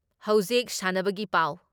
ꯍꯧꯖꯤꯛ ꯁꯥꯟꯅꯕꯒꯤ ꯄꯥꯎ ꯫